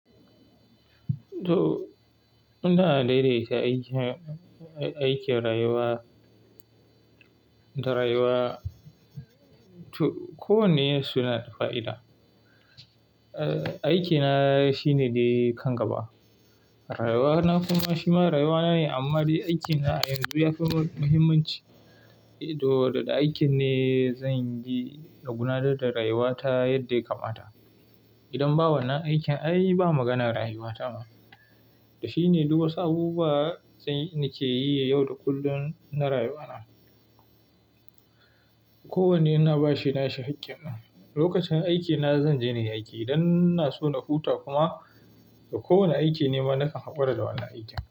To, ina daidaita aikin, aikin rayuwa da rayuwa. To, kowanne suna da fa'ida. Aiki na shi ne dayi kan gaba. Rayuwa na kuma shima rayuwa na ne amma dai aikin na a yanzu yafi mahimmanci. To, da aikin ne zanyi na gudanar da rayuwa ta yadda ya kamata. Idan bawannan aikin ai ba maganan rayuwa ta ai. Shi ne duk wasu abubuwa nake yi yau da kullum na rayuwa na. Kowanne ina bashi nashi hakkin nan. Lokacin aikin na zanje nayi aiki idan ina so na huta kuma da kowane aiki nema nakan haƙura da wannan aikin.